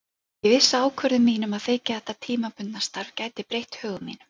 Ég vissi að ákvörðun mín um að þiggja þetta tímabundna starf gæti breytt högum mínum.